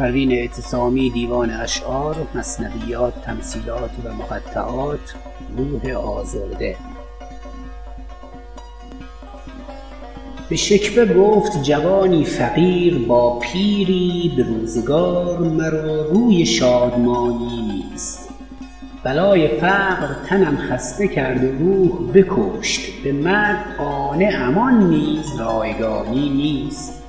به شکوه گفت جوانی فقیر با پیری به روزگار مرا روی شادمانی نیست بلای فقر تنم خسته کرد و روح بکشت به مرگ قانعم آن نیز رایگانی نیست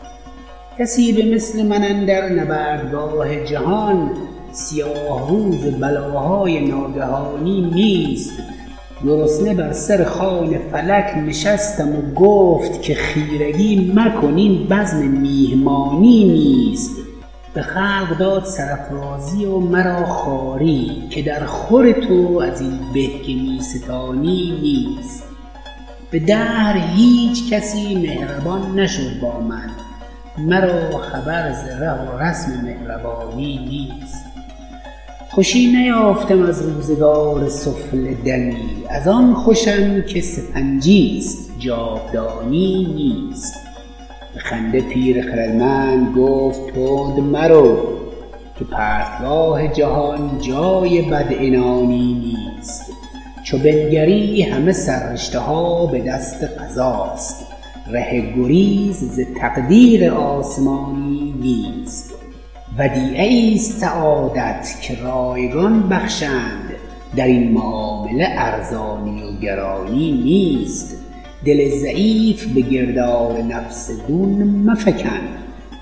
کسی به مثل من اندر نبردگاه جهان سیاه روز بلاهای ناگهانی نیست گرسنه بر سر خوان فلک نشستم و گفت که خیرگی مکن این بزم میهمانی نیست به خلق داد سرافرازی و مرا خواری که در خور تو ازین به که میستانی نیست به دهر هیچکس مهربان نشد با من مرا خبر ز ره و رسم مهربانی نیست خوش نیافتم از روزگار سفله دمی از آن خوشم که سپنجی است جاودانی نیست به خنده پیر خردمند گفت تند مرو که پرتگاه جهان جای بد عنانی نیست چو بنگری همه سر رشته ها بدست قضاست ره گریز ز تقدیر آسمانی نیست ودیعه ایست سعادت که رایگان بخشند درین معامله ارزانی و گرانی نیست دل ضعیف بگرداب نفس دون مفکن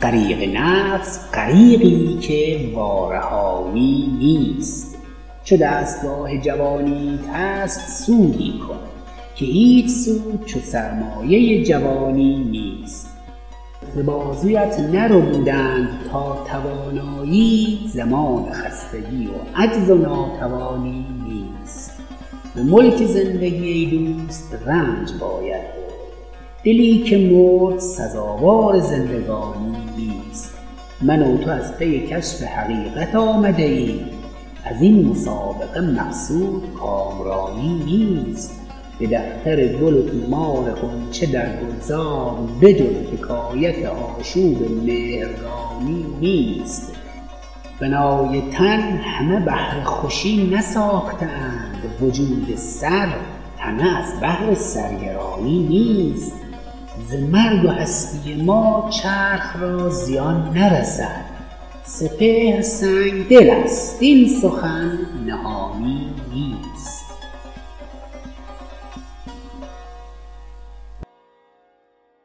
غریق نفس غریقی که وارهانی نیست چو دستگاه جوانیت هست سودی کن که هیچ سود چو سرمایه جوانی نیست ز بازویت نربودند تا توانایی زمان خستگی و عجز و ناتوانی نیست به ملک زندگی ای دوست رنج باید برد دلی که مرد سزاوار زندگانی نیست من و تو از پی کشف حقیقت آمده ایم ازین مسابقه مقصود کامرانی نیست به دفتر گل و طومار غنچه در گلزار به جز حکایت آشوب مهرگانی نیست بنای تن همه بهر خوشی نساخته اند وجود سر همه از بهر سرگرانی نیست ز مرگ و هستی ما چرخ را زیان نرسد سپهر سنگدل است این سخن نهانی نیست